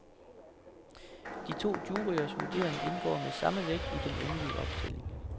De to juryers vurdering indgår med samme vægt i den endelige optælling.